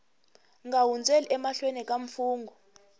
nga hundzeli emahlweni ka mfungho